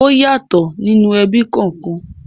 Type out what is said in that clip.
Ọ́ yàtọ̀ ní inú ẹbí kọ̀ọ̀kan.